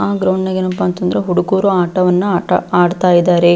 ಆ ಗ್ರೌಂಡನಲ್ಲಿ ಏನಪ್ಪಾ ಅಂತ ಅಂದ್ರೆ ಹುಡುಗರು ಆಟವನ್ನು ಆಡ್ತಾ ಇದ್ದಾರೆ.